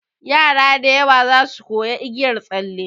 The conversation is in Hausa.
Yara da yawa zasu koya igiyar tsalle.